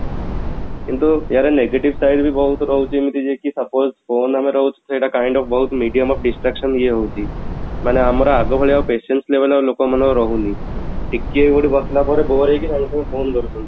କିନ୍ତୁ ଏଆର negative side ବି ବହୁତ ରହୁଛି ଏମିତି ଯେ କି suppose call ଆମେ ଧରୁଛେ ସେଇଟା kind of ବହୁତ medium of distraction ଇଏ ହଉଛି , ମାନେ ଆମର ଆଗ କାଳିଆ ଆଉ patience ନାହିଁ ଆଉ ଲୋକ ମାନଙ୍କର ରହୁନି ଟିକେ କୋଉଠି ବସିଲା ପରେ bore ହେଇକି ବସିଲା ପରେ ସାଙ୍ଗେ ସାଙ୍ଗେ phone ଧରୁଛନ୍ତି